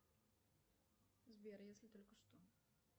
сбер если только что